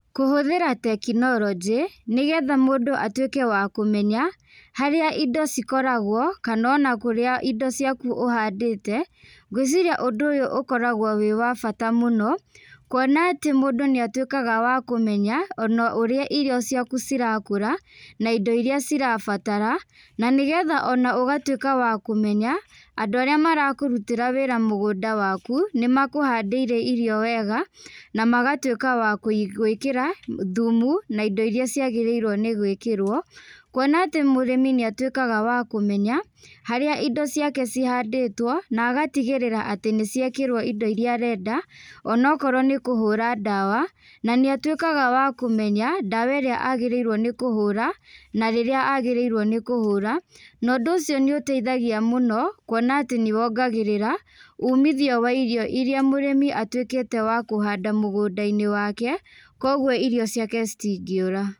Kũhũthĩra tekinoronjĩ, nĩgetha mũndũ atuĩke wa kũmenya, harĩa indo cikoragwo, kana ona kũrĩa indo ciaku ũhandĩte, ngwĩciria ũndũ ũyũ ũkoragwo wĩ wa bata mũno, kuona atĩ mũndũ nĩatuĩkaga wa kũmenya ona ũrĩa irio ciaku cirakũra, na indo iria cirabatara, na nĩgetha ona ũgatuĩka wa kũmenya, andũ arĩa marakũrutĩra wĩra mũgũnda waku, nĩmakũhandĩra irio wega, namagatuĩka wa kũ gwĩkĩra, thumu na indo iria ciagĩrĩirwo nĩgwĩkĩrwo, kuona atĩ mũrĩmi nĩatuĩkaga wa kũmenya, harĩa indo ciake cihandĩtwo, na agatigĩrĩra atĩ nĩciekĩrwo indo iria arenda, ona okorwo nĩkũhũra ndawa, na nĩatuĩkaga wa kũmenya, ndawa ĩrĩa agĩrĩrwo nĩ kũhũra, na rĩrĩa agĩrĩirwo nĩ kũhũra, na ũndũ ũcio nĩũteithagia mũno, kuona atĩ nĩwongagĩrĩra, umithio wa irio iria mũrĩmi atuĩkĩte wa kũhanda mũgũnda-inĩ wake, koguo irio ciake citingĩũra.